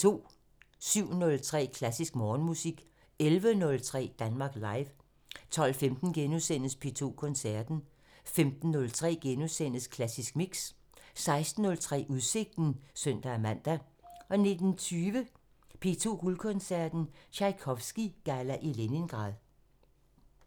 07:03: Klassisk Morgenmusik 11:03: Danmark Live 12:15: P2 Koncerten * 15:03: Klassisk Mix * 16:03: Udsigten (søn-man) 19:20: P2 Guldkoncerten – Tjajkovskij-galla i Leningrad